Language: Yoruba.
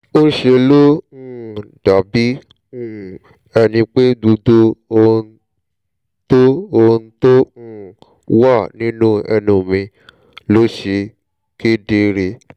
ńṣe ló um dàbí um ẹni pé gbogbo ohun tó ohun tó um wà nínú ẹnu mi ló ṣe kedere